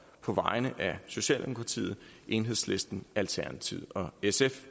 på vegne af socialdemokratiet enhedslisten alternativet og sf